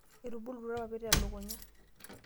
aatubulutua irpapit le lukunya.